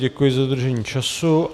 Děkuji za dodržení času.